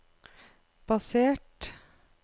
basert